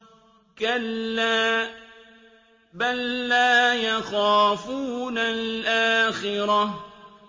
كَلَّا ۖ بَل لَّا يَخَافُونَ الْآخِرَةَ